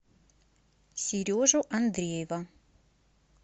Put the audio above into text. сережу андреева